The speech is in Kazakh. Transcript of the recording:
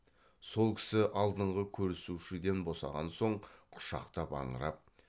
сол кісі алдыңғы көрісушіден босаған соң құшақтап аңырап